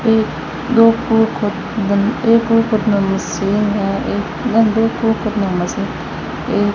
एक दो मशीन है मशीन ये --